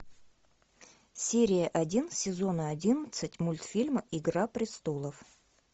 серия один сезона одиннадцать мультфильма игра престолов